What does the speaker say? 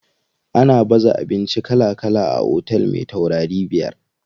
Ana baza abinci kala kala a otel me taurarai biyar.